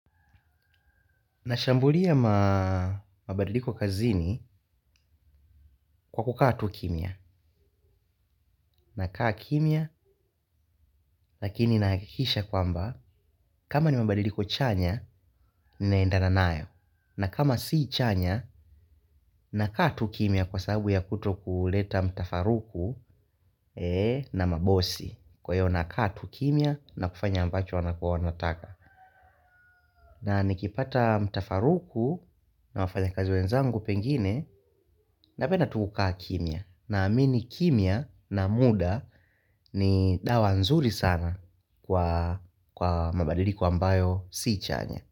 Nashambulia mabadiliko kazini kwa kukaa tu kimya na kaa kimya lakini nahakikisha kwamba kama ni mabadiliko chanya ninaendana nayo na kama si chanya na kaa tu kimya kwa sababu ya kuto kuleta mtafaruku na mabosi kwa hiyo na kaa tu kimya na kufanya ambacho wanako wanataka. Na nikipata mtafaruku na wafanya kazi wenzangu pengine na penda tu kukaa kimya naamini kimya na muda ni dawa nzuri sana kwa mabadiliko ambayo si chanya.